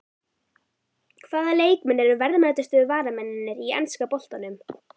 Hvaða leikmenn eru verðmætustu varamennirnir í enska boltanum?